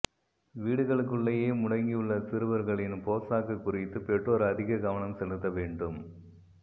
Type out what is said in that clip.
வீடுகளுக்குள்ளேயே முடங்கியுள்ள சிறுவர்களின் போசாக்கு குறித்து பெற்றோர் அதிக கவனம் செலுத்த வேண்டும்